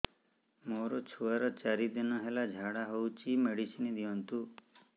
ମୋର ଛୁଆର ଚାରି ଦିନ ହେଲା ଝାଡା ହଉଚି ମେଡିସିନ ଦିଅନ୍ତୁ